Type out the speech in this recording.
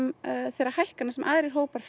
þeirra hækkana sem aðrir hópar